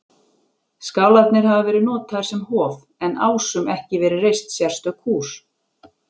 Skálarnir hafi verið notaðir sem hof, en Ásum ekki verið reist sérstök hús.